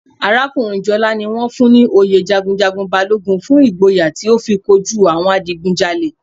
Arakunrin Jola ni won fun un ni oyè jagunjagun Balogun fun igboya ti o fi koju awon adigunjale.